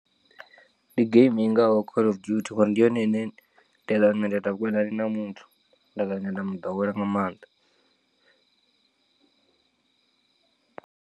Ndi geimi ingaho call of duty ngori ndi yone ine nda nda ita vhukonani na muthu nda muḓowela nga maanḓa.